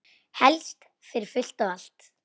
Helst fyrir fullt og allt.